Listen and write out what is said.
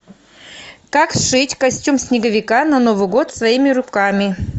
как сшить костюм снеговика на новый год своими руками